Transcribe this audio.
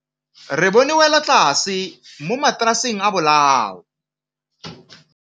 Re bone wêlôtlasê mo mataraseng a bolaô.